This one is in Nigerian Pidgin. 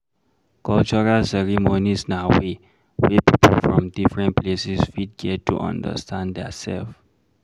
cultural ceremonies na way wey pipo from different places fit get to understand their self